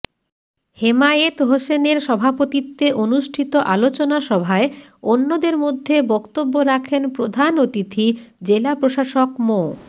হেমায়েত হোসেনের সভাপতিত্বে অনুষ্ঠিত আলোচনা সভায় অন্যদের মধ্যে বক্তব্য রাখেন প্রধান অতিথি জেলা প্রশাসক মো